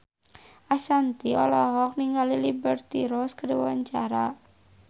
Ashanti olohok ningali Liberty Ross keur diwawancara